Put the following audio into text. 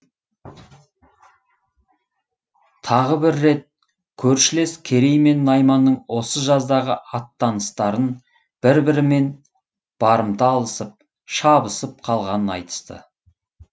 тағы бір рет көршілес керей мен найманның осы жаздағы аттаныстарын бір бірінен барымта алысып шабысып қалғанын айтысты